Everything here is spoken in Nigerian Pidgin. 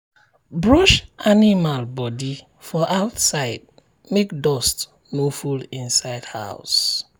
brush animal body for outside make dust no full inside house.